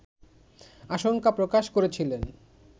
আশঙ্কা প্রকাশ করেছিলেন